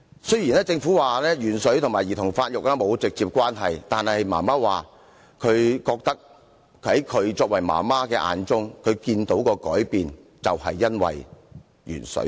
雖然政府說鉛水和兒童發育沒有直接關係，但他媽媽說她覺得在她作為媽媽的眼中，她看到的改變便是因為鉛水。